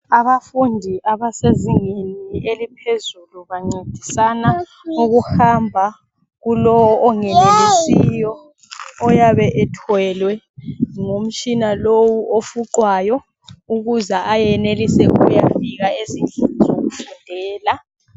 Abafundi abasezingeni eliphezulu bancedisana ukuhamba kulowu ongenelisiyo oyabe ethwelwe ngumtshina lowu ofuqwayo ukuze ayenelise ukuyofika ezindlini zokufundela.